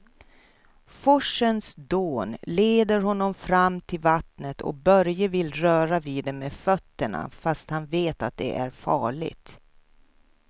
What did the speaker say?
Forsens dån leder honom fram till vattnet och Börje vill röra vid det med fötterna, fast han vet att det är farligt.